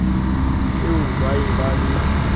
eo ba be ba be